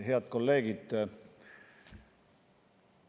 Head kolleegid!